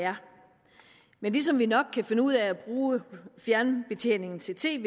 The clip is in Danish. er men ligesom vi nok kan finde ud af at bruge fjernbetjeningen til tvet